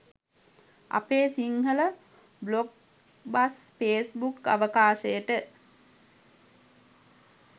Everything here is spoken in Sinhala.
අපේ සිංහල බ්ලොග් බස් ෆේස්බුක් අවකාශයට